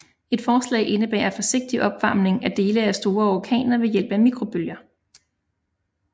Et forslag indebærer forsigtig opvarmning af dele af store orkaner ved hjælp af mikrobølger